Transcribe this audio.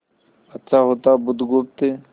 अच्छा होता बुधगुप्त